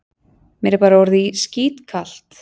Mér er bara orðið skítkalt.